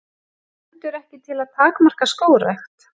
Stendur ekki til að takmarka skógrækt